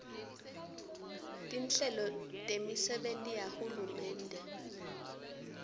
tinhlelo temisebenti yahulumende